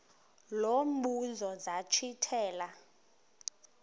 lo mbuzo zachithela